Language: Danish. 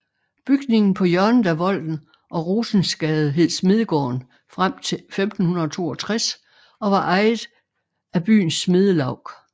Bygningen på hjørnet af Volden og Rosensgade hed smedegården frem til 1562 og var ejet af byens smedelaug